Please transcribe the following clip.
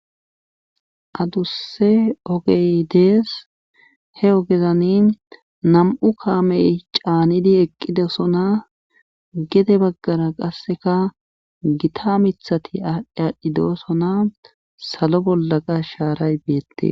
Adusse ogey dees he ogezani nam'u kaamey caanidi eqqidesona gede baggara qasseka gita mithati aadhdhi aadhdhi dosona salo bollaqa shaaray beette.